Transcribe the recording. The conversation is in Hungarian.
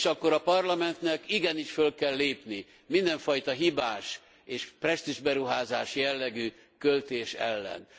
És akkor a Parlamentnek igenis föl kell lépni mindenfajta hibás és presztízsberuházás jellegű költés ellen.